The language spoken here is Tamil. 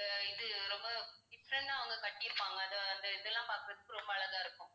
அஹ் இது ரொம்ப different ஆ அவங்க கட்டி இருப்பாங்க அதை அந்த இதெல்லாம் பார்க்கிறதுக்கு ரொம்ப அழகா இருக்கும்